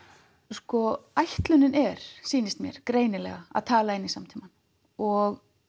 sko ætlunin er sýnist mér greinilega að tala inn í samtímann og